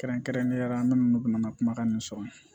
Kɛrɛnkɛrɛnnenya la an minnu bɛ n ka kumakan in sɔrɔ